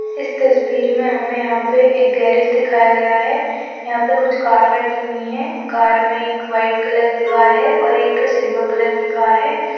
इस तस्वीर मे हमे यहां पे एक गैरेज दिखाया गया है यहां पे कुछ कार रखी हुई है कार मे एक व्हाइट कलर की कार है और एक सिल्वर कलर की कार है।